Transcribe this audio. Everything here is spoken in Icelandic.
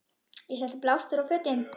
Ég setti blástur á fötin.